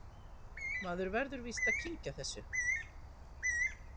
Maður verður víst að kyngja þessu